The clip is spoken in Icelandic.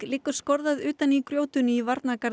liggur skorðað utan í grjótinu í